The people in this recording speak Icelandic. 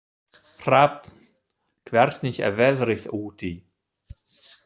Hrafn, hvernig er veðrið úti?